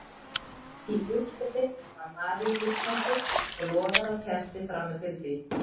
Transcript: Í útskoti var Maríulíkneski og logaði á kerti frammi fyrir því.